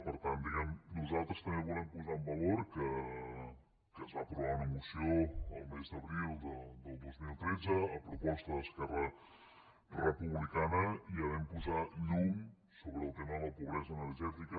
per tant diguem ne nosaltres també volem posar en valor que es va aprovar una moció el mes d’abril de dos mil tretze a proposta d’esquerra republicana i ja vam posar llum sobre el tema de la pobresa energètica